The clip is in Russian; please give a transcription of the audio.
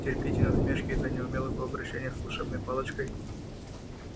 терпите насмешки из-за неумелого обращения с волшебной палочкой